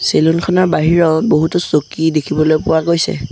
Salon খনৰ বাহিৰত বহুতো চকী দেখিবলৈ পোৱা গৈছে।